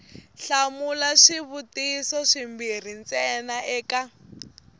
hlamula swivutiso swimbirhi ntsena eka